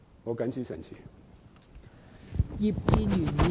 我謹此陳辭。